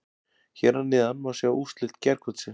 Hér að neðan má sjá úrslit gærkvöldsins.